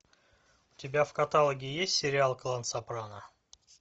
у тебя в каталоге есть сериал клан сопрано